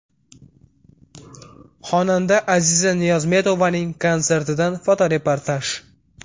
Xonanda Aziza Niyozmetovaning konsertidan fotoreportaj.